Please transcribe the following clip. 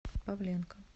павленко